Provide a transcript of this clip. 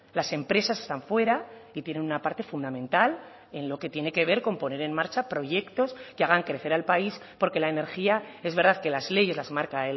las empresas están fuera y tiene una parte fundamental en lo que tiene que ver con poner en marcha proyectos que hagan crecer al país porque la energía es verdad que las leyes las marca